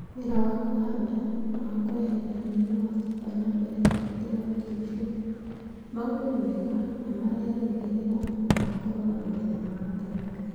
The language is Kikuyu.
Wĩra wa kũhanda na wa kweheria ria nĩ wathiaga na mbere Kaunti-inĩ ya Kericho. Maũndũ nĩ mega na mareĩrĩgĩrĩra magakorũo na magetha ma gatagatĩ.